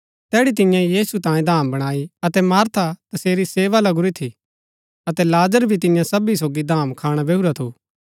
तैड़ी तियें यीशु तांयें धाम बणाई अतै मार्था तसेरी सेवा लगुरी थी अतै लाजर भी तियां सबी सोगी धाम खाणा बैहुरा थू